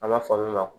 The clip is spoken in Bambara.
Ala falo la